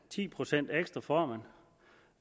ekstra fisk for